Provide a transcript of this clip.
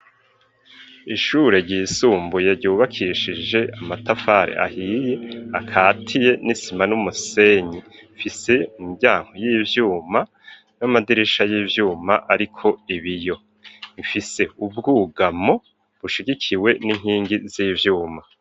Ishure ryisumbuye ryubakishije amatafare ahiye akatiye n'isima n'umusenyi mfise imbyanko y'ibyuma n'amadirisha y'ivyuma ariko ibiyo mfise ubwugamo bushigikiwe n'inkingi z'ivyuma.